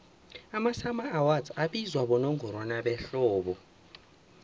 amasummer awards abizwa bonongorwana behlobo